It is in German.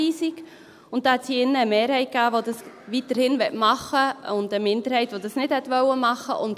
Diesbezüglich gab es hier drin eine Mehrheit, die das weiterhin machen will, und eine Minderheit, die das nicht machen will.